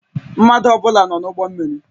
Mmadụ ọ bụla nọ n'ụgbọ mmiri?